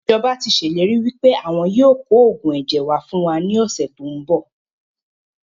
Ìjọba tíì ṣe ìlérí wípé àwọn yìí ó kò oògùn ẹ̀jẹ̀ wá fún wa ní ọ̀sẹ̀ tòun bọ̀